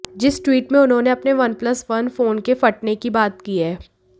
जिस ट्वीट में उन्होंने अपने वनप्लस वन फोन के फटने की बात की है